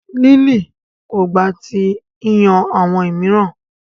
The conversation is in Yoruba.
Lily ko gba ti iyan awọn miiran